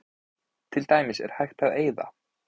til dæmis er hægt að eyða